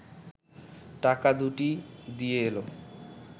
টাকা দুটি দিয়ে এল